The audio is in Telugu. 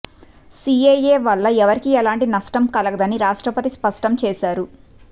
సీఏఏ వల్ల ఎవరికి ఎలాంటి నష్టం కలగదని రాష్ట్రపతి స్పష్టం చేశారు